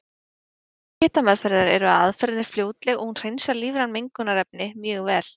Kostir hitameðferðar eru að aðferðin er fljótleg og hún hreinsar lífræn mengunarefni mjög vel.